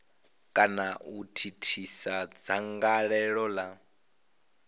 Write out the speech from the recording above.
kana u thithisa dzangalelo la